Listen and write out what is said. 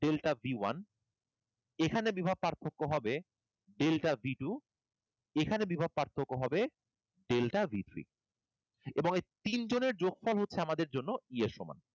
delta b one, এখানে বিভব পার্থক্য হবে delta b two, এখানে বিভব পার্থক্য হবে delta b three, এবং এই তিনজনের যোগফল হচ্ছে আমাদের জন্য E এর সমান।